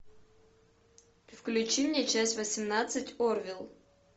включи мне часть восемнадцать орвилл